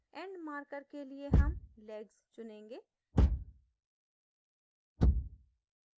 end marker के लिए हम legs चुनेंगे